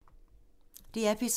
DR P3